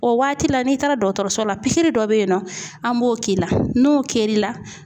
O waati la n'i taara dɔgɔtɔrɔso la pikiri dɔ bɛ yen nɔ an b'o k'i la n'o kɛr'i la